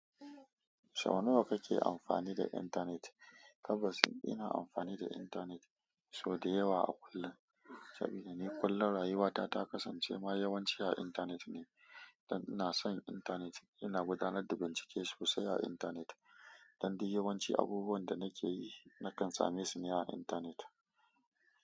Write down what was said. Sau nawa kake amfani da intanet? Tabbas, ina amfani da intanet sau da yawa a kullum, saboda ni kullum rayuwata ta kasance ma yawanci a intanet ne, don ina son intanet. Ina gudanar da bincike sosai a intanet, don dai yawanci abubuwan da nake yi nakan same su ne a intanet.